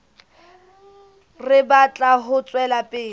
re batla ho tswela pele